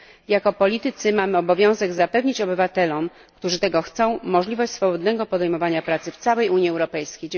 Jako politycy mamy obowiązek zapewnić obywatelom, którzy tego chcą, możliwość swobodnego podejmowania pracy w całej Unii Europejskiej.